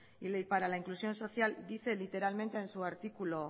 y para la inclusión social dice literalmente en su artículo